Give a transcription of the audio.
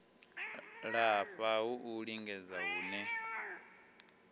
lafha ha u lingedza hune